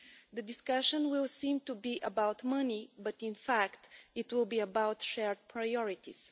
The discussion will seem to be about money, but in fact it will be about shared priorities.